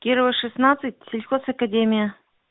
кирова шестнадцать сельхоз академия